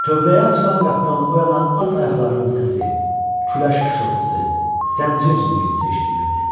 Tövləyə açılan qapıdan o yana at ayaqlarının səsi, küləş xışıltısı, zəncir cingiltisi eşidilirdi.